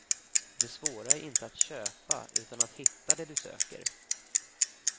Det svåra är inte att köpa, utan att hitta det du söker.